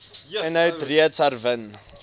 inhoud reeds herwin